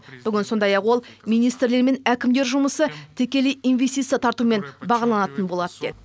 бүгін сондай ақ ол министрлер мен әкімдер жұмысы тікелей инвестиция тартуымен бағаланатын болады деді